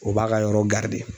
O b'a ka yɔrɔ garidi de